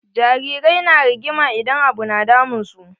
Jarirai na rigima idan abu na damun su.